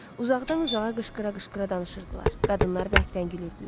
Uzaqdan-uzağa qışqıra-qışqıra danışırdılar, qadınlar bərkdən gülürdülər.